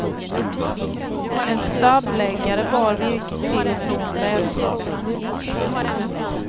En stabbläggare bar virket till och från brädstaplarna.